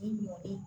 Ni mɔgɔ bɛ